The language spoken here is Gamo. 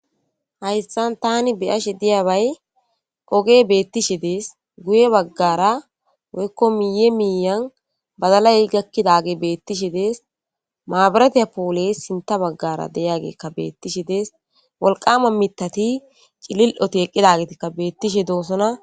hayssan tani biyashe diyabay oge beettishe dees guye baggara woykko miye miiyan badalay gakkidage beettishe dees maabaratiya poole sinta baggara deyagekka beettishe dees wolqama mitati cilil7oto eqqidagitikka beettishe doosona